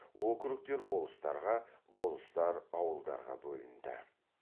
округтер болыстарға болыстар ауылдарға бөлінді